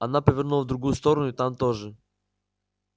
она повернула в другую сторону и там тоже